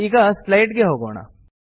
ಈಗ ಸ್ಲೈಡ್ ಗೆ ಹೋಗೋಣ